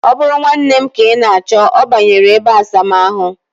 O bụrụ nwanne m ka ị na-achọ, ọ banyere ebeasamaahụ